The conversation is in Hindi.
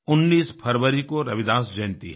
19 फरवरी को रविदास जयंती है